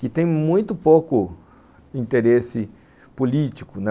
que tem muito pouco interesse político, né.